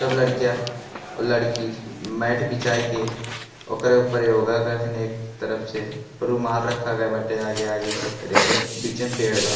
सब लड़किया और लड़की मेट बिछा के ओकरे ऊपर योगा करतरी एक तरफ से रुमाल रखल गइल बाटे आगे आगे सब करे और बिचे पेड बा।